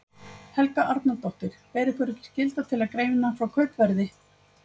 Helga Arnardóttir: Ber ykkur ekki skylda til að greina frá kaupverði?